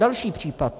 Další případ.